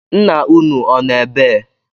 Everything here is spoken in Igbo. Ńnà ụnụ ọ nọ ebee?